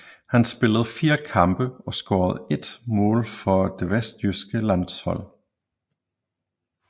Han spillede fire kampe og scorede ét mål for det vesttyske landshold